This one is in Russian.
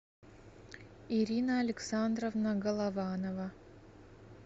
ирина александровна голованова